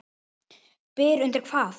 Byr undir hvað?